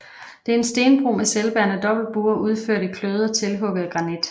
Det er en stenbro med selvbærende dobbeltbuer udført i kløvet og tilhugget granit